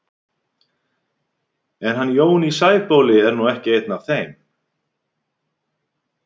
En hann Jón í Sæbóli er nú ekki einn af þeim.